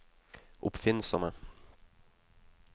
oppfinnsomme